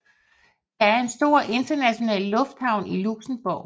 Der er en stor international lufthavn i Luxembourg